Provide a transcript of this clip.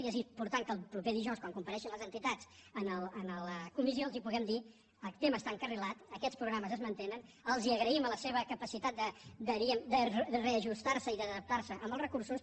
i és important que el proper dijous quan compareguin les entitats a la comissió els puguem dir el tema està encarrilat aquests programes es mantenen els agraïm la seva capacitat de reajustar se i d’adaptar se als recursos